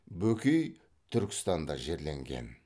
бөкей түркістанда жерленген